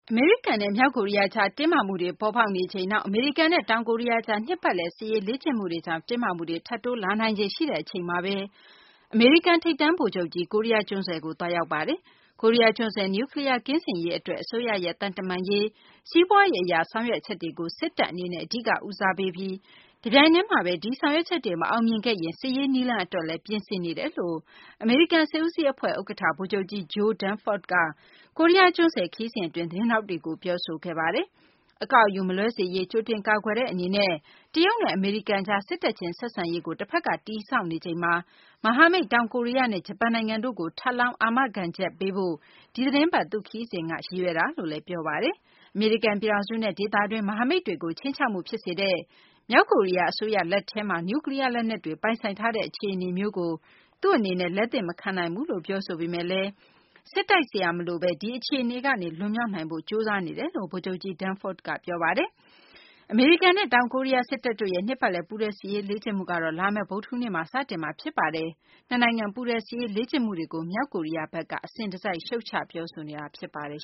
အမေရိကန်နဲ့ မြောက်ကိုရီးယားကြား တင်းမာမှုတွေ ပေါ်ပေါက်နေချိန်၊ နောက် အမေရိကန်နဲ့ တောင်ကိုရီးယားကြား နှစ်ပတ်လည် စစ်ရေးလေ့ကျင့်မှုတွေကြောင့် တင်းမာမှုတွေ ထပ်တိုးလာနိုင်ခြေ ရှိနေတဲ့ အချိန်မှာဘဲ အမေရိကန် ထိပ်တန်း ဗိုလ်ချုပ်ကြီး ကိုရီးယား ကျွန်းဆွယ်ကို သွားရောက်ပါတယ်။ ကိုရီးယားကျွန်းဆွယ် နျူးကလီးယား ကင်းစင်ရေး အတွက် အစိုးရရဲ့ သံတမန်ရေး၊ စီးပွားရေး အရ ဆောင်ရွက်ချက်တွေကို စစ်တပ်အနေနဲ့ အဓိက ဦးစားပေးပြီး တပြိုင်တည်းမှာဘဲ ဒီဆောင်ရွက်ချက်တွေ မအောင်မြင်ခဲ့ရင် စစ်ရေးနည်းလမ်းအတွက်လည်း ပြင်ဆင်နေတယ်လို့ အမေရိကန် စစ်ဦးစီးအဖွဲ့ ဥက္ကဌ ဗိုလ်ချုပ်ကြီး Joe Dunford က ကိုရီးယားကျွန်းဆွယ် ခရီးစဉ် အတွင်း သတင်းထောက်တွေကို ပြောဆိုခဲ့ပါတယ်။ အကောက်အယူ မလွဲစေရေး ကြိုတင် ကာကွယ်တဲ့ အနေနဲ့ တရုတ်နဲ့ အမေရိကန်ကြား စစ်တပ်ချင်း ဆက်ဆံရေးကို တဖက်က တည်ဆောက်နေချိန်မှာ မဟာမိတ် တောင်ကိုရီးယားနဲ့ ဂျပန်နိုင်ငံတို့ကို ထပ်လောင်းအာမခံချက်ပေးဖို့ ဒီသတင်းပတ်သူ့ခရီးစဉ်က ရည်ရွယ်သွားရောက်တာလို့လည်း ပြောပါတယ်။ အမေရိကန် ပြည်ထောင်စုနဲ့ ဒေသတွင်း မဟာမိတ်တွေကို ခြိမ်းခြောက်မှု ဖြစ်စေတဲ့ မြောက်ကိုရီးယား အစိုးရ လက်ထဲမှာ နျူးကလီးယားလက်နက်တွေ ပိုင်ဆိုင်ထားတဲ့ အခြေအနေမျိုးကို သူ့အနေနဲ့ လက်သင့်မခံနိုင်ဘူးလို့ ပြောဆိုပေမယ့်လည်း စစ်တိုက်စရာ မလိုဘဲ ဒီအခြေအနေကနေ လွန်မြောက်နိုင်ဖို့ ကျနော်တို့ ကြိုးစားနေပါတယ်လို့လည်း ဗိုလ်ချုပ်ကြီး Dunford က ပြောပါတယ်။ Ulchi-Freedom Guardian လို့ အမည်ပေးထားတဲ့ အမေရိကန်နဲ့ တောင်ကိုရီးယားစစ်တပ်တို့ရဲ့ နှစ်ပတ်လည် ပူးတွဲစစ်ရေးလေ့ကျင့်မှုက လာမယ့် ဗုဒ္ဓဟူးနေ့မှာ စတင်မှာပါ။ ဒီနှစ်နိုင်ငံ ပူးတွဲ စစ်ရေး လေ့ကျင့်မှုတွေကို မြောက်ကိုရီးယားဘက်က အစဉ်တစိုက် ရှုတ်ချပြောဆိုနေတာ ဖြစ်ပါတယ်